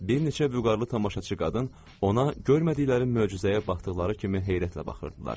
Bir neçə vüqarlı tamaşaçı qadın ona görmədikləri möcüzəyə baxdıqları kimi heyrətlə baxırdılar.